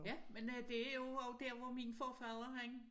Ja men øh det er jo også der hvor min forfader han